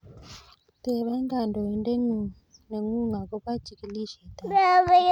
Tebe kanyoindet neng'ung akobo chikilishet ab borto.